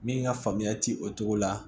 Min ka faamuya ti o cogo la